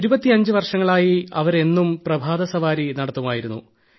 കഴിഞ്ഞ 25 വർഷങ്ങളായി അവർ എന്നും പ്രഭാതസവാരി നടത്തുമായിരുന്നു